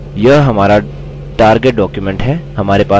यह हमारा target document है